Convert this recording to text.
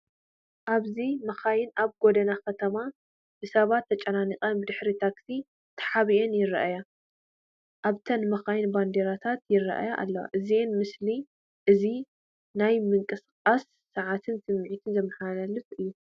ኣብዚ መካይን ኣብ ጎደና ከተማ፡ ብሰባት ተጨናኒቐን ብድሕሪ ታክሲ ተሓቢአን ይርኣያ። ኣብተን መካይን ባንዴራታት ይራኣያ ኣለዋ። እዚ ምስሊ እዚ ናይ ምንቅስቓስን ጸዓትን ስምዒት ዘመሓላልፍ እዩ።